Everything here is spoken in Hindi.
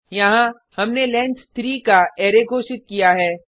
यहाँ हमने लेंथ 3 का अरै घोषित किया है